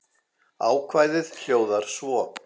Ákvæðið hljóðar svo